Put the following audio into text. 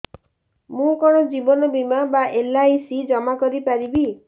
ମୁ କଣ ଜୀବନ ବୀମା ବା ଏଲ୍.ଆଇ.ସି ଜମା କରି ପାରିବି